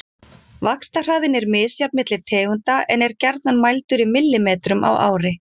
Vaxtarhraðinn er misjafn milli tegunda en er gjarnan mældur í millimetrum á ári.